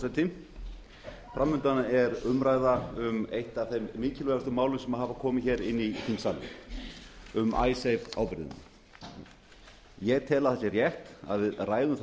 frú forseti fram undan er umræða um eitt af þeim mikilvægustu málum sem hafa komið hér inn í þingsali um icesave ábyrgðina ég tel að það sé rétt að við ræðum það